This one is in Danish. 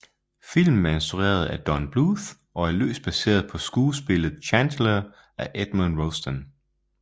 Filmen er instrueret af Don Bluth og er løst baseret på skuespillet Chantecler af Edmond Rostand